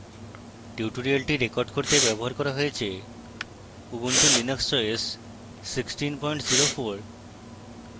tutorial record করতে ব্যবহার করা হয়েছে: ubuntu linux os 1604